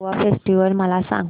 Goa festival मला सांग